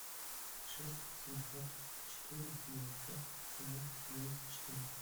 шесть семьсот четыре девятьсот семнадцать одиннадцать четырнадцать